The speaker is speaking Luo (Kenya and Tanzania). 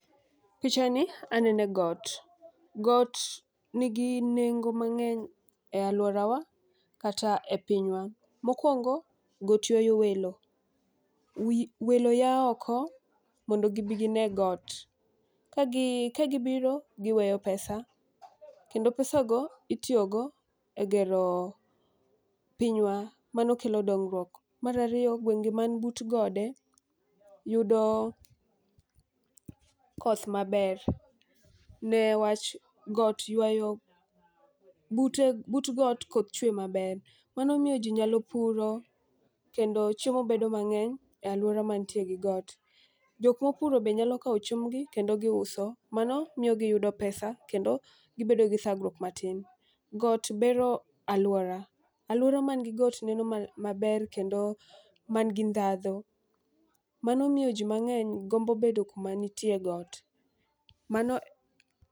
Picha ni anene got, got nigi nengo mang'eny e alwora wa kata e pinywa. Mokwongo, got ywayo welo. Welo ya oko modo gibi gine got, ka gi ka gibiro giweyo pesa. Kendo pesa go itiyogo e gero pinywa mano kelo dongruok. Marariyo, gwenge man but gode yudo koth maber newach got ywayo, but got koth chwe maber. Mano miyo ji nyalo puro kendo chiemo bedo mang'eny e alwora mantie gi got. Jokmo puro be nyalo kawo chiembgi kendo giuso, mano miyo giyudo pesa kendo gibedo gi thagruok matin. Got bero alwora, alwora man gi got neno maler kendo man gi ndhadho. Mano miyo ji mang'eny gombo bedo kuma nitie got, mano.